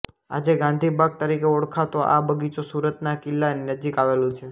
આજે ગાંધી બાગ તરીકે ઓળખાતો આ બગીચો સુરતના કિલ્લા નજીક આવેલું છે